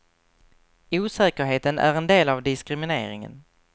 Osäkerheten är en del av diskrimineringen.